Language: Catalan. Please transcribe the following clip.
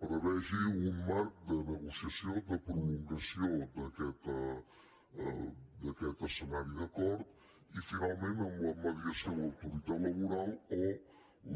prevegi un marc de negociació de prolongació d’aquest escenari d’acord i finalment amb la mediació de l’autoritat laboral o